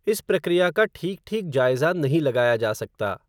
इस प्रक्रिया का ठीक ठीक जायज़ा नहीं लगाया जा सकता